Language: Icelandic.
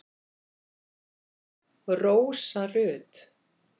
Rósa Rut.